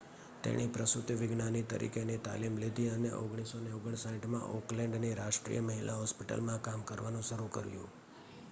તેણે પ્રસૂતિવિજ્ઞાની તરીકેની તાલીમ લીધી અને 1959માં ઑકલેન્ડની રાષ્ટ્રીય મહિલા હોસ્પિટલમાં કામ કરવાનું શરૂ કર્યું